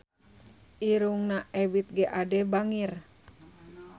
Irungna Ebith G. Ade bangir